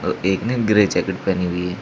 एक ने grey jacket पहनी हुई है।